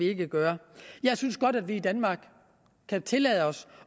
ikke gøre jeg synes godt at vi i danmark kan tillade os